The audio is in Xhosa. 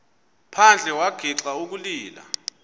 phandle wagixa ukulila